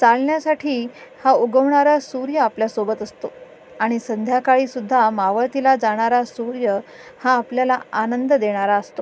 चालण्यासाठी हा उगवणारा सूर्य आपल्या सोबत असतो आणि संध्याकाळी सुद्धा मावळतीला जाणार सूर्य हा आपल्याला आनंद देणारा असतो.